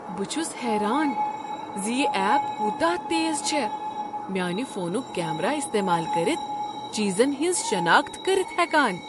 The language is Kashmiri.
بہٕ چھس حیران ز یہ ایپ کوتاہ تیز چھےٚ میٛانہ فونک کیمرہ استعمال کٔرتھ چیزن ہٕنٛز شناخت کٔرتھ ہیکان۔